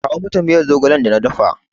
Kawo mata miyar zogalen da na dafa!